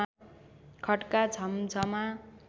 खट्का झम्झमा